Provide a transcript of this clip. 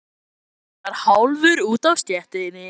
Brosir til hennar hálfur úti á stéttinni.